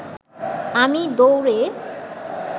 আমি দৌড়ে